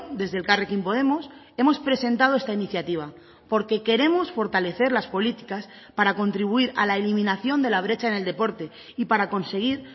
desde elkarrekin podemos hemos presentado esta iniciativa porque queremos fortalecer las políticas para contribuir a la eliminación de la brecha en el deporte y para conseguir